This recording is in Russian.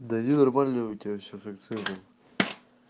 да не нормально у тебя все функционирует